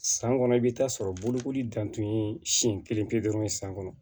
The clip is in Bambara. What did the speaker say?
San kɔnɔ i bɛ taa sɔrɔ bolokoli dantan ye siɲɛ kelen pe dɔrɔn san kɔnɔ